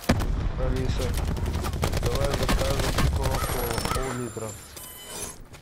алиса давай закажем кока кола поллитра